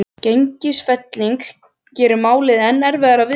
Gengisfelling gerir málið enn erfiðara viðfangs.